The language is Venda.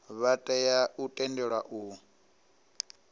vha tea u tendelwa u